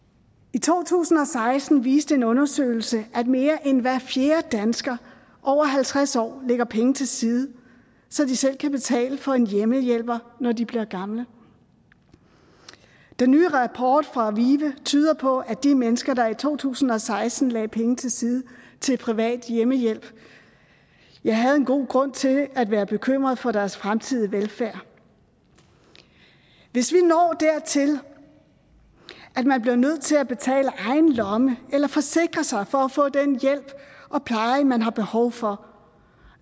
i to tusind og seksten viste en undersøgelse at mere end hver fjerde dansker over halvtreds år lægger penge til side så de selv kan betale for en hjemmehjælper når de bliver gamle den nye rapport fra vive tyder på at de mennesker der i to tusind og seksten lagde penge til side til privat hjemmehjælp havde en god grund til at være bekymret for deres fremtidige velfærd hvis vi når dertil at man bliver nødt til at betale af egen lomme eller forsikre sig for at få den hjælp og pleje man har behov for